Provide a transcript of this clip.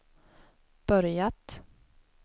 börjat